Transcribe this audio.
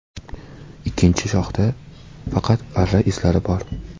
Ikkinchi shoxda faqat arra izlari bor.